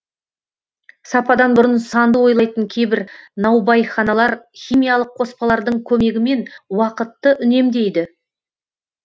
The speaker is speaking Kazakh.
сападан бұрын санды ойлайтын кейбір наубайханалар химиялық қоспалардың көмегімен уақытты үнемдейді